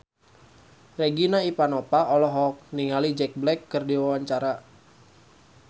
Regina Ivanova olohok ningali Jack Black keur diwawancara